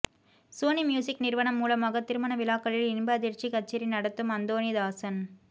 Sony Music நிறுவனம் மூலமாக திருமண விழாக்களில் இன்ப அதிர்ச்சி கச்சேரி நடத்தும் அந்தோனிதாசன்